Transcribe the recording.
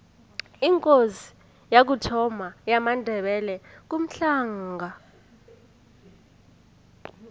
ikosi yokuthoma yamandebele ngumhlanga